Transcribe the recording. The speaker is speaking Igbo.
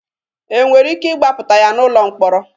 E nwere ike ịgbapụta ya n'ụlọ mkpọrọ?